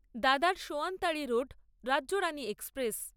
দাদার সোয়ানতাড়ি road Rajyarani express